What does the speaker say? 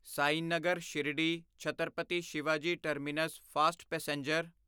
Sainagar Shirdi Chhatrapati Shivaji terminus fast passenger